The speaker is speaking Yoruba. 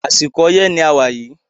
Àsìkò oyẹ́ ni a wà yìí